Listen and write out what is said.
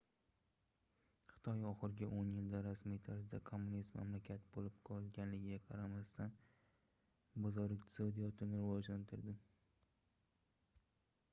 xitoy oxirgi oʻn yilda rasmiy tarzda kommunist mamlakat boʻlib qolganiga qaramasdan bozor iqtisodiyotini rivojlantirdi